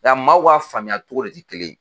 Yan maaw ka faamuya togo de te kelen ye